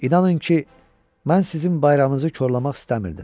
inanın ki, mən sizin bayramınızı korlamaq istəmirdim.